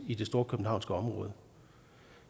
i det storkøbenhavnske område